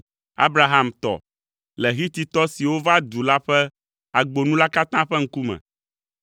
Abraham tɔ le Hititɔ siwo va du la ƒe agbo nu la katã ƒe ŋkume.